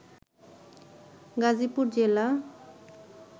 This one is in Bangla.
গাজীপুর জেলা